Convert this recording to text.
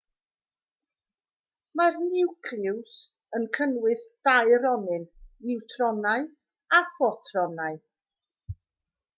mae'r niwclews yn cynnwys dau ronyn niwtronau a phrotonau